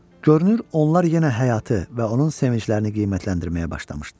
Görünür onlar yenə həyatı və onun sevinclərini qiymətləndirməyə başlamışdılar.